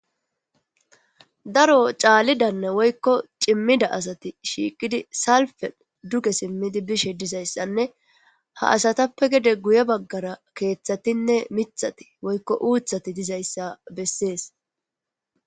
daro caalidanne woykko cimmida asati shiiqidi salfen duge simmidi bishe dizayssanne ha asatappe gede guye baggara keeththatinne mithati woykko uuthati dizayssa bessees